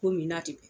Ko min na ten